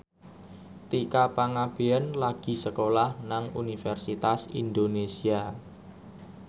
Tika Pangabean lagi sekolah nang Universitas Indonesia